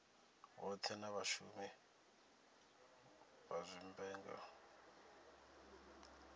vhothe na vhashumi vha zwivhumbeo